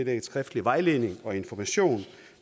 en skriftlig vejledning og information